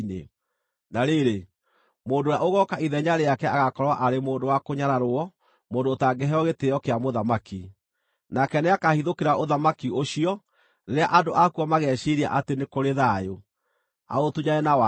“Na rĩrĩ, mũndũ ũrĩa ũgooka ithenya rĩake agaakorwo arĩ mũndũ wa kũnyararwo mũndũ ũtangĩheo gĩtĩĩo kĩa mũthamaki. Nake nĩakahithũkĩra ũthamaki ũcio rĩrĩa andũ akuo mageciiria atĩ nĩ kũrĩ thayũ, aũtunyane na waara.